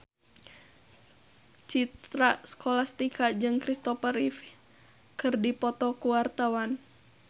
Citra Scholastika jeung Kristopher Reeve keur dipoto ku wartawan